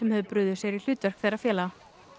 höfðu brugðið sér í hlutverk þeirra félaga